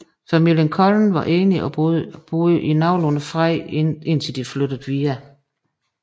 Familien Cullen var enige og boede i nogenlunde fred indtil de flyttede videre